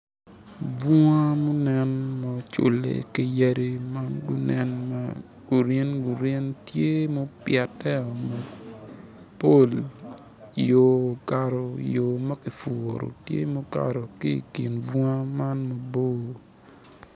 Bunga mu nen ma ocule ki yadi ma nen ma gurin gurin tye mupiteo mapol yo okato yo makipuro tye mukato ki i kin bunga ma mobor